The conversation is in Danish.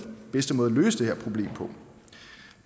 bedste måde at løse det her problem